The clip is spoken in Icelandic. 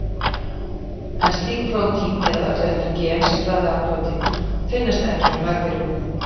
En slík prótín, eða öllu heldur gen sem framleiða prótínin, finnast ekki hjá nagdýrum.